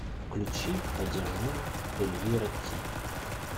включи одержима эльвира ти